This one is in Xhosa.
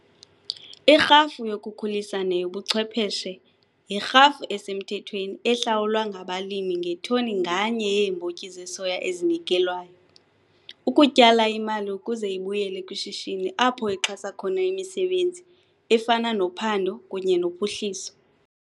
Irhafu yokukhulisa neyobuchwepheshe yirhafu esemthethweni ehlawulwa ngabalimi ngetoni nganye yeembotyi zesoya ezinikelwayo, ukutyala imali ukuze ibuyele kwishishini apho ixhasa khona imisebenzi efana nophando kunye nophuhliso.